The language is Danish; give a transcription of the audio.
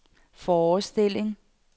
forestilling